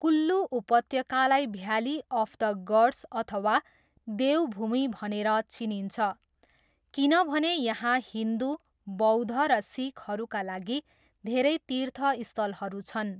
कुल्लु उपत्यकालाई valley of the gods अथवा देव भूमि भनेर चिनिन्छ किनभने यहाँ हिन्दु, बौद्ध र सिखहरूका लागि धेरै तीर्थस्थलहरू छन्।